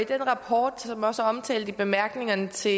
den rapport som også er omtalt i bemærkningerne til